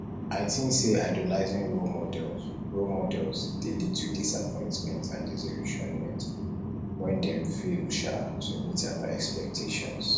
i think say idolizing role models role models dey lead to disappointment and disillusionment when dem fail um to meet our expectations